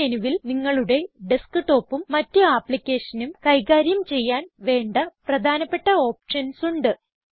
ഈ മെനുവിൽ നിങ്ങളുടെ ഡസ്ക്ടോപ്പും മറ്റ് ആപ്പ്ലിക്കേഷനും കൈകാര്യം ചെയ്യാൻ വേണ്ട പ്രധാനപ്പെട്ട ഓപ്ഷൻസ് ഉണ്ട്